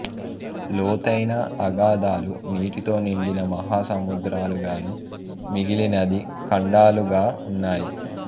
లోతైన అగాథాలు నీటితో నిండి మహాసముద్రాలుగాను మిగిలినది ఖండాలుగా ఉన్నాయి